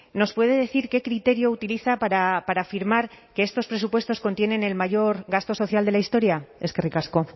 nos puede decir qué criterio utiliza para afirmar que estos presupuestos contienen el mayor gasto social de la historia eskerrik asko